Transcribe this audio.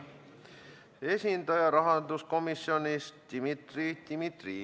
Selline mittekaasamise praktika tuleb murda.